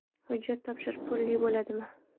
Hujjat topshirish pulli bo‘ladimi?